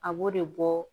A b'o de bɔ